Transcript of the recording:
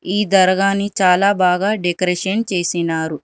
ఈ దర్గాని చాలా బాగా డెకరేషన్ చేసినారు.